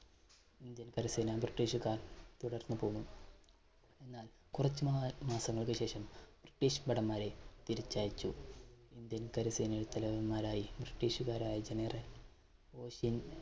Indian കരസേന british കാർ തുടർന്നു പോന്നു. എന്നാൽ കുറച്ചു മാമാസങ്ങൾക്ക് ശേഷം british ഭടന്മാരെ തിരിച്ചയച്ചു. ഇന്ത്യൻ കരസേനയിൽ തലവന്മാരായി british കാർ ആയി general